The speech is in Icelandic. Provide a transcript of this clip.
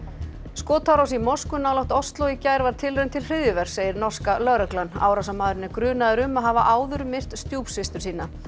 skotárás í mosku nálægt Osló í gær var tilraun til segir norska lögreglan árásarmaðurinn er grunaður um að hafa áður myrt stjúpsystur sína